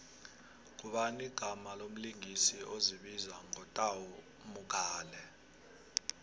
ngubani igama lomlingisi ozibiza ngo tau mogale